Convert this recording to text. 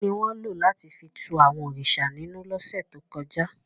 Kini won lo lati fi tú àwọn òrìṣà ninú lọ́se to kọja?